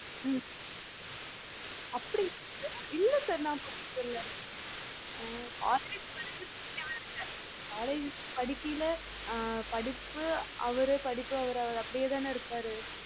உம் அப்படி இல்ல இல்ல sir நான் பாத்ததே இல்ல ஆஹ் college வர்றயில நீங்க வேற college படிக்கையில ஆஹ் படிப்பு அவரு படிப்பு அவரு படிப்பு அவரு அப்டியேதான் இருப்பாரு